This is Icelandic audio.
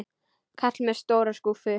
Kall með stóra skúffu.